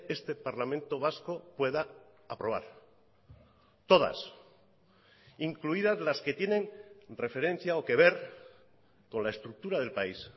este parlamento vasco pueda aprobar todas incluidas las que tienen referencia o que ver con la estructura del país